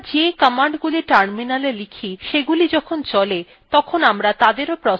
আমরা the commandsগুলি terminal type সেগুলি যখন চলে তখন আমরা তাদেরও processes বলতে পারি